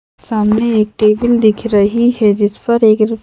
सामने एक टेबल दिख रही है जिस पर एकर--